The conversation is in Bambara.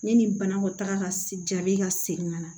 Ne ni banakɔ taga ka jabi ka segin ka na